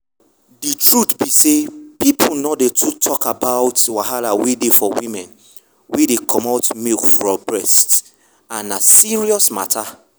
the truth be say people nor too dey talk about wahala wey dey for women wey dey comot milk for breast and na serious matter.